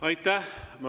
Aitäh!